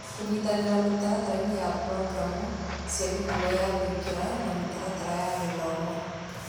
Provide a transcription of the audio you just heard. Kũnyitanĩra mĩtaratara-inĩ ya programu cia mĩtugo ya kũingĩra na mĩtaratara ya gĩthomo.